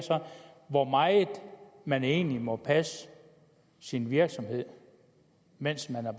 hvor meget man egentlig må passe sin virksomhed mens man er